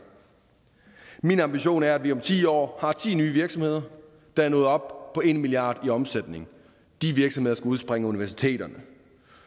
min ambition er at vi om ti år har ti nye virksomheder der er nået op på en milliard kroner i omsætning de virksomheder skal udspringe af universiteterne